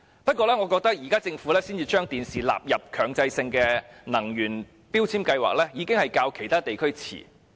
然而，我認為政府現時才把電視機納入強制性標籤計劃，已經大大落後於其他地區。